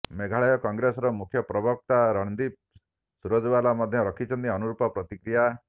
ମେଘାଳୟ କଂଗ୍ରେସର ମୁଖ୍ୟପ୍ରବକ୍ତା ରଣଦୀପ ସୁରଜବାଲା ମଧ୍ୟ ରଖିଛନ୍ତି ଅନୁରୂପ ପ୍ରତିକ୍ରିୟା